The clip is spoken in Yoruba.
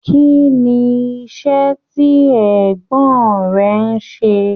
Kínní iṣẹ tí ẹ̀gbọ́n rẹ n ṣe?